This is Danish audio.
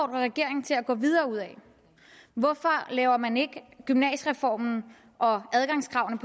regeringen til at gå videre ud ad hvorfor laver man ikke gymnasiereformen og adgangskravene